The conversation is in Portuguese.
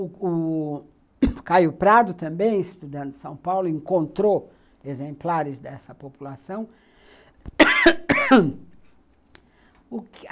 O o Caio Prado também, estudando em São Paulo, encontrou exemplares dessa população